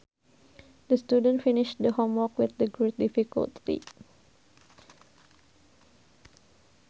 The student finished the homework with great difficulty